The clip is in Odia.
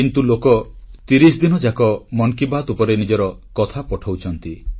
କିନ୍ତୁ ଲୋକ ତିରିଶ ଦିନ ଯାକ ମନ୍ କି ବାତ୍ ଉପରେ ନିଜକଥା ପଠାଉଛନ୍ତି